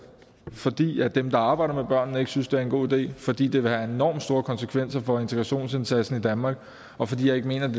fordi dem der arbejder med børnene ikke synes det er en god idé fordi det vil have enormt store konsekvenser for integrationsindsatsen i danmark og fordi jeg ikke mener det